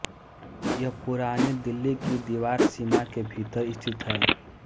यह पुरानी दिल्ली की दीवारसीमा के भीतर स्थित है